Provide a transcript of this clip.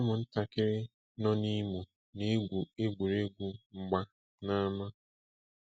Ụmụntakịrị nọ n'Imo na-egwu egwuregwu mgba n'ama.